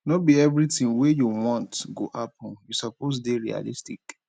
no be everytin wey you want go happen you suppose dey realistic